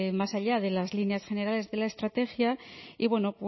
más allá de las líneas generales de la estrategia y bueno